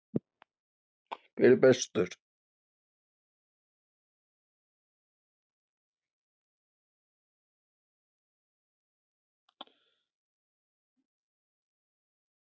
Þegar leikurinn kláraðist, hver átti að borga reikninginn?